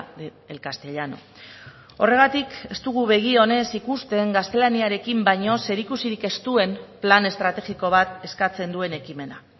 del castellano horregatik ez dugu begi onez ikusten gaztelaniarekin baino zerikusirik ez duen plan estrategiko bat eskatzen duen ekimena